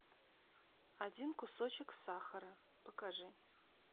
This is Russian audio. один кусочек сахара покажи